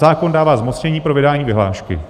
Zákon dává zmocnění pro vydání vyhlášky.